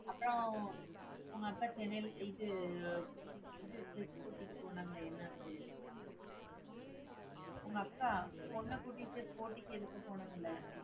அப்பறம் உங்க அக்கா சென்னைல இது இது இதுக்கு கூட்டிட்டு போனாங்களே என்னாச்சு? உங்க அக்கா, பொண்ண கூட்டிட்டு போட்டிக்கு எதுக்கோ போனாங்களே?